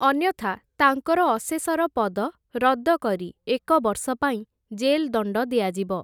ଅନ୍ୟଥା, ତାଙ୍କର ଅଶେଶର ପଦ, ରଦ୍ଦ କରି, ଏକବର୍ଷ ପାଇଁ ଜେଲ୍‌ଦଣ୍ଡ ଦିଆଯିବ ।